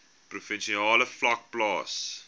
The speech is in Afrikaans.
provinsiale vlak plaas